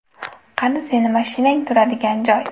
Qani sening mashinang turadigan joy?”.